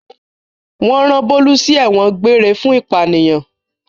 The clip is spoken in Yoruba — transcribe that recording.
Wọ́n rán Bólú sí ẹ̀wọ̀n egbére fún ìpànìyàn.